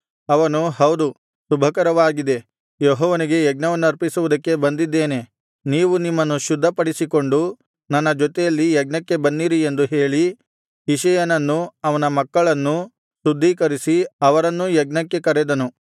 ಅವನು ಹೌದು ಶುಭಕರವಾಗಿದೆ ಯೆಹೋವನಿಗೆ ಯಜ್ಞವನ್ನರ್ಪಿಸುವುದಕ್ಕೆ ಬಂದಿದ್ದೇನೆ ನೀವು ನಿಮ್ಮನ್ನು ಶುದ್ಧಪಡಿಸಿಕೊಂಡು ನನ್ನ ಜೊತೆಯಲ್ಲಿ ಯಜ್ಞಕ್ಕೆ ಬನ್ನಿರಿ ಎಂದು ಹೇಳಿ ಇಷಯನನ್ನೂ ಅವನ ಮಕ್ಕಳನ್ನೂ ಶುದ್ಧೀಕರಿಸಿ ಅವರನ್ನೂ ಯಜ್ಞಕ್ಕೆ ಕರೆದನು